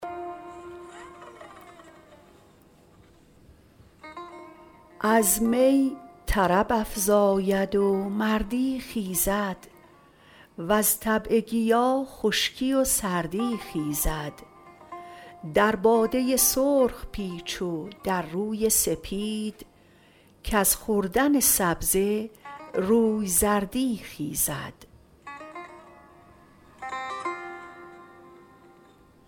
از می طرب افزاید و مردی خیزد وز طبع گیا خشکی و سردی خیزد در باده سرخ پیچ و در روی سپید کز خوردن سبزه روی زردی خیزد